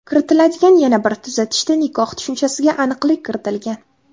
Kiritiladigan yana bir tuzatishda nikoh tushunchasiga aniqlik kiritilgan.